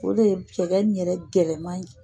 O de ye cɛgɛ in yɛrɛ gɛlɛma ye